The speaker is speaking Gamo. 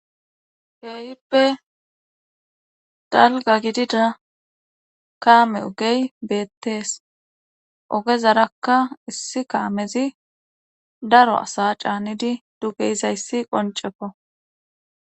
Keehippe dalga gidida kaame ogey beettees ogezarakka issi kaamezi daro asa caanidi duge yizayssi qonceko